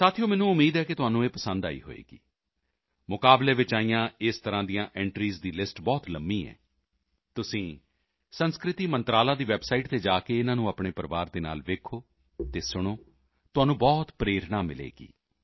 ਸਾਥੀਓ ਮੈਨੂੰ ਉਮੀਦ ਹੈ ਕਿ ਤੁਹਾਨੂੰ ਇਹ ਪਸੰਦ ਆਈ ਹੋਵੇਗੀ ਮੁਕਾਬਲੇ ਵਿੱਚ ਆਈਆਂ ਇਸ ਤਰ੍ਹਾਂ ਦੀਆਂ ਐਂਟਰੀਜ਼ ਦੀ ਲਿਸਟ ਬਹੁਤ ਲੰਬੀ ਹੈ ਤੁਸੀਂ ਸੱਭਿਆਚਾਰ ਮੰਤਰਾਲਾ ਦੀ ਵੈੱਬਸਾਈਟ ਤੇ ਜਾ ਕੇ ਇਨ੍ਹਾਂ ਨੂੰ ਆਪਣੇ ਪਰਿਵਾਰ ਦੇ ਨਾਲ ਵੇਖੋ ਅਤੇ ਸੁਣੋ ਤੁਹਾਨੂੰ ਬਹੁਤ ਪ੍ਰੇਰਣਾ ਮਿਲੇਗੀ